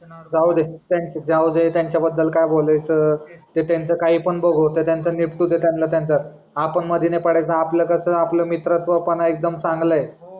जाऊ दे त्यांच्या त्यांच्या बद्दल काय बोलायचं. ते त्यांचं काय पण बघू ते त्यांना निपटू दे त्यांना त्यांचं आपण मध्ये नाही पडायचं आपण कसं आपला मित्रत्वापणा एकदम चांगला आहे